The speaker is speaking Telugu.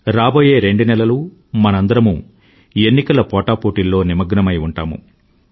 రాబోయే రెండు నెలలు మనందరమూ ఎన్నికల పోటాపోటీల్లో నిమగ్నమై ఉంటాము